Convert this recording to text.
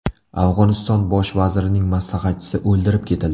Afg‘oniston bosh vazirining maslahatchisi o‘ldirib ketildi.